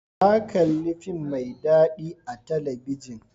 Na kalli fim mai dadi a talabijin.